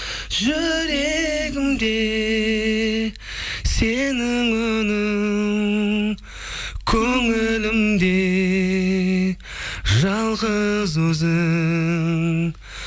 жүрегімде сенің үнің көңілімде жалғыз өзің